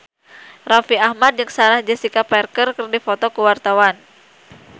Raffi Ahmad jeung Sarah Jessica Parker keur dipoto ku wartawan